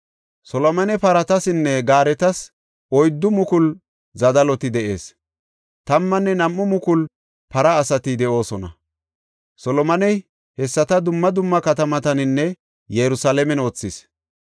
Solomone paratasinne gaaretas oyddu mukulu zadaloti de7ees; tammanne nam7u mukulu para asati de7oosona. Solomoney hessata dumma dumma katamataninne Yerusalaamen wothis.